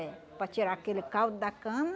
É, para tirar aquele caldo da cana.